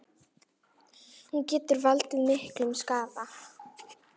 Hún getur valdið miklum skaða.